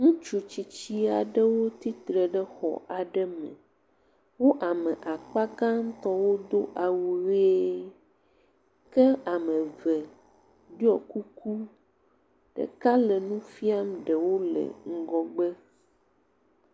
Ŋutsu tsitsi aɖewo tsi tre ɖe xɔ aɖe me. Wo ame akpa gãtɔwo do awu ʋee. Ke ame eve ɖiɔ kuku. Ɖeka le nu fia ɖewo le ŋgɔgbe.